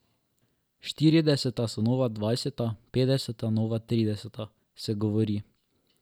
Štirideseta so nova dvajseta, petdeseta nova trideseta, se govori.